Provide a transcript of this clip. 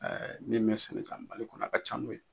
Ɛɛ min bɛ sekin ka na mali kɔnɔ , a ka ca n'o ye.